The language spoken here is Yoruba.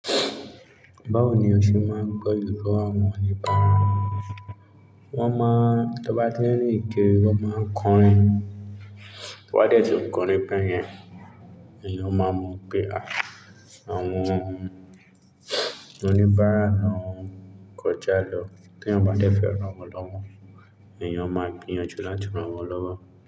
Báwo ni ọṣẹ máa ń gbé ìró àwọn oníbàárà? Wọ́n máa, tí wọ́n bá tín rín kirí, wọ́n máa ń kọrin. Tí wọ́n bá dẹ̀tì ǹkọ́rin bẹ́yen, èèyàn máa mọ̀ pé àwọn oníbàárà náà kọjá lọ. Tí wọ́n bá dẹ́fẹ̀ ran wọn lọ́wọ́, èèyàn máa gbìyànjú láti ran wọn lọ́wọ́